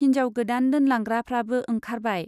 हिन्जाव गोदान दोनलांग्राफ्राबो ओंखारबाय।